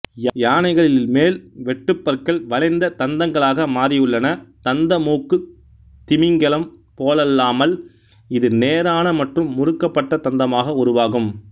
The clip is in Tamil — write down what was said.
யானைகளில் மேல் வெட்டுப்பற்கள் வளைந்த தந்தங்களாக மாறியுள்ளன தந்தமூக்குத் திமிங்கலம் போலல்லாமல் இது நேரான மற்றும் முறுக்கப்பட்ட தந்தமாக உருவாகும்